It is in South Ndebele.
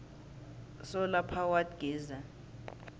solar powered geyser